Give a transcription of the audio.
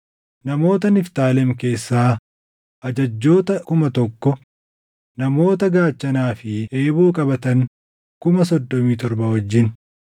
namoota Niftaalem keessaa ajajjoota 1,000; namoota gaachanaa fi eeboo qabatan 37,000 wajjin;